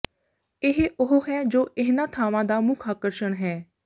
ਇਹ ਉਹ ਹੈ ਜੋ ਇਹਨਾਂ ਥਾਵਾਂ ਦਾ ਮੁੱਖ ਆਕਰਸ਼ਣ ਹੈ